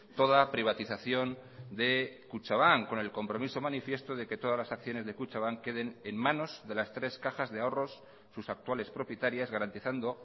toda privatización de kutxabank con el compromiso manifiesto de que todas las acciones de kutxabank queden en manos de las tres cajas de ahorros sus actuales propietarias garantizando